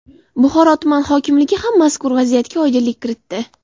Buxoro tuman hokimligi ham mazkur vaziyatga oydinlik kiritdi.